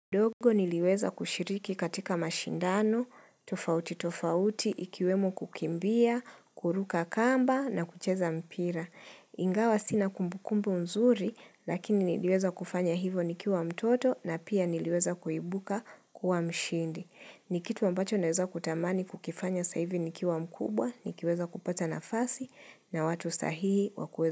Ndogo niliweza kushiriki katika mashindano, tofauti tofauti, ikiwemo kukimbia, kuruka kamba na kucheza mpira. Ingawa sina kumbukumbu nzuri, lakini niliweza kufanya hivo nikiwa mtoto na pia niliweza kuibuka kuwa mshindi. Ni kitu ambacho naweza kutamani kukifanya sasa hivi nikiwa mkubwa, nikiweza kupata nafasi na watu sahihi wakueza.